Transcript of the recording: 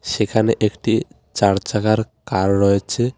সেখানে একটি চার চাকার কার রয়েছে।